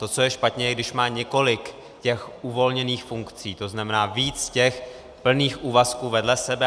To, co je špatně, je, když má několik těch uvolněných funkcí, to znamená víc těch plných úvazků vedle sebe.